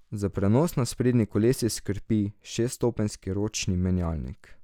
Za prenos na sprednji kolesi skrbi šeststopenjski ročni menjalnik.